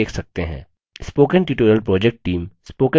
spoken tutorial project team